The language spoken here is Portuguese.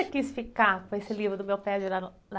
você quis ficar com esse livro do Meu Pé de Laran...